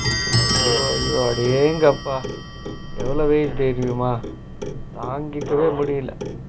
அடேங்கப்ப எவ்ளோ வெயிலு தெரியுமா தாங்கிக்கவே முடியல